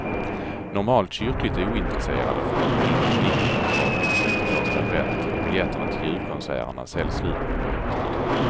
Normalt kyrkligt ointresserade får något vilt i blicken när det drar ihop sig till första advent och biljetterna till julkonserterna säljs slut på nolltid.